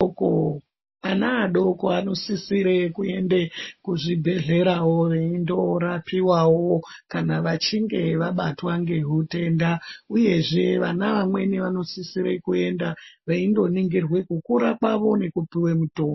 Ana adoko anosisire kuende kuzvibhedhlerawo veindorapiwawo kana vachinge vabatwa ngezvitenda . Uyezve vana vamweni vanosisire kuenda veindoningirwa kukura kwavo nekupiwa mitombo.